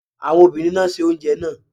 Àwọn obìnrin náà se oúnjẹ náà.